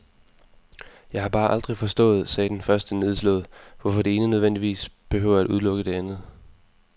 Jeg har bare aldrig forstået, sagde den første nedslået, hvorfor det ene nødvendigvis behøver at udelukke det andet.